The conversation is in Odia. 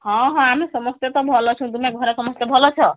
ହଁ ହଁ ଆମେ ସମସ୍ତେ ତ ଭଲ ଅଛୁ ତୁମେ ଘରେ ସମସ୍ତେ ଭଲ ଅଛ